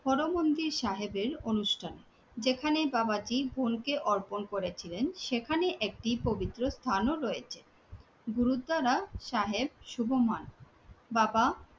হরমন্দির সাহেবের অনুষ্ঠানে, যেখানে বাবাজি বোনকে অর্পণ করেছিলেন সেখানে একটি পবিত্র স্থানও রয়েছে। গুরুদ্বারা সাহেব শুভমান বাবা